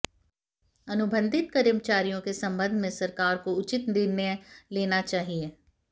अनुबंधित कर्मचारियों के संबंध में सरकार को उचित निर्णय लेना चाहिए